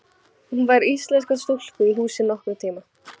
Hún fær íslenska stúlku í húsið nokkurn tíma.